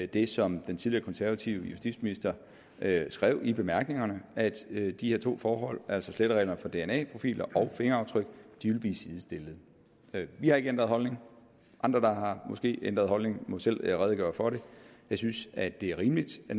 det som den tidligere konservative justitsminister skrev i bemærkningerne nemlig at de her to forhold altså slettereglerne for dna profiler og fingeraftryk ville blive sidestillet vi har ikke ændret holdning andre der måske har ændret holdning må selv redegøre for det jeg synes at det er rimeligt at